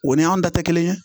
O ni anw ta tɛ kelen ye